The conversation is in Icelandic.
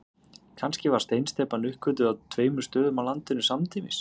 Kannski var steinsteypan uppgötvuð á tveimur stöðum á landinu samtímis.